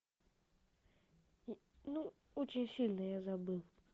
ну очень сильно я забыл